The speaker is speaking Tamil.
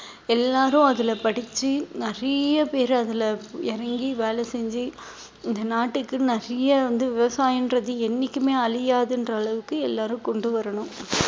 எல்லாரும் அதுல படிச்சு நிறைய பேரு அதுல இறங்கி வேலை செஞ்சு இந்த நாட்டுக்கு நிறைய வந்து விவசாயம்ன்றது என்னைக்குமே அழியாதுன்ற அளவுக்கு எல்லாரும் கொண்டு வரணும்